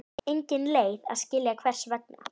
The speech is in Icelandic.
Engin leið að skilja hvers vegna.